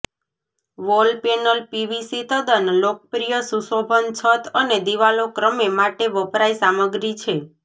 wall panel PVC તદ્દન લોકપ્રિય સુશોભન છત અને દિવાલો ક્રમે માટે વપરાય સામગ્રી છે